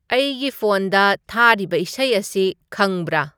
ꯑꯩꯒꯤ ꯐꯣꯟꯗ ꯊꯥꯔꯤꯕ ꯏꯁꯩ ꯑꯁꯤ ꯈꯪꯕꯔꯥ